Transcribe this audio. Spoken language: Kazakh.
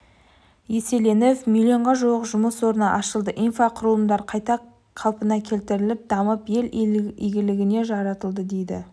еселеніп миллионға жуық жұмыс орны ашылды инфрақұрылымдар қайта қалпына келтіріліп дамып ел игілігіне жаратылды дейді